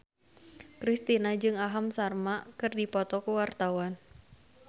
Kristina jeung Aham Sharma keur dipoto ku wartawan